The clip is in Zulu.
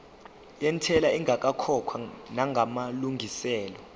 yentela ingakakhokhwa namalungiselo